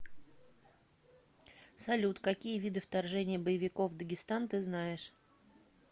салют какие виды вторжение боевиков в дагестан ты знаешь